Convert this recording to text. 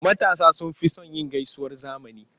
Matasa sun fi son yin gaisuwar zamani.